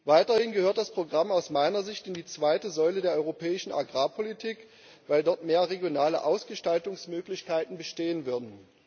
Weiterhin gehört das Programm aus meiner Sicht in die zweite Säule der europäischen Agrarpolitik, weil dort mehr regionale Ausgestaltungsmöglichkeiten bestehen würden.